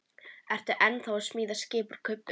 Ertu ennþá að smíða skip úr kubbum?